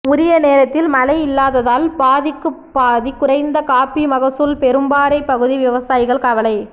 உரிய நேரத்தில் மழை இல்லாததால் பாதிக்குப்பாதி குறைந்த காப்பி மகசூல் பெரும்பாறை பகுதி விவசாயிகள் கவலை